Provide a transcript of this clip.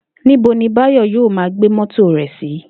Níbo ni Báyò̩ yóò máa gbé mó̩tò rè̩ sí?